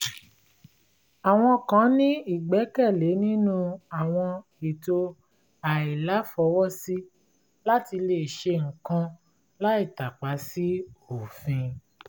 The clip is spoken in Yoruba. àwọn kan ní ìgbẹ́kẹ̀lé nínú àwọn ètò àìláfọwọ́sí láti lè ṣe nǹkan láì tàpa sí òfin